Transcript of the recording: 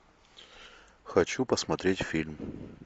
хочу посмотреть фильм